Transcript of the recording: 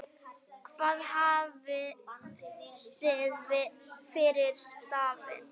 Hvað hafið þið fyrir stafni?